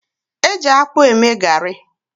Eji akpụ eme garị.